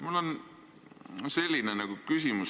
Mul on sulle selline küsimus.